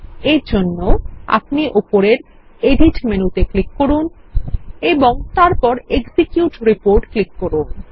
এরজন্য আপনিউপরের editমেনুতে ক্লিক করুন এবং তারপর এক্সিকিউট Reportক্লিক করুন